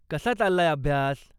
कसा चाललाय अभ्यास?